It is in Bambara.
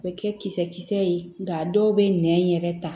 U bɛ kɛ kisɛ ye nka a dɔw bɛ nɛn yɛrɛ ta